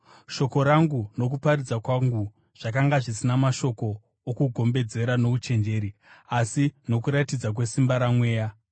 Shoko rangu nokuparidza kwangu zvakanga zvisina mashoko okugombedzera nouchenjeri, asi nokuratidza kwesimba raMweya,